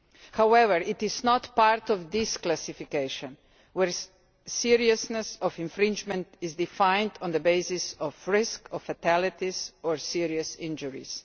However, it is not part of this classification, where seriousness of infringement is defined on the basis of risk of fatalities or serious injuries.